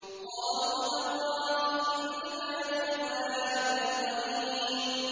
قَالُوا تَاللَّهِ إِنَّكَ لَفِي ضَلَالِكَ الْقَدِيمِ